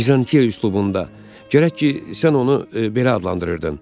Vizantiya üslubunda, gərək ki, sən onu belə adlandırırdın.